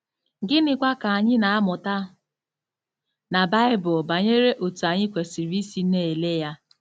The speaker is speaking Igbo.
Gịnịkwa ka anyị na-amụta na Baịbụl banyere otú anyị kwesịrị isi na-ele ya?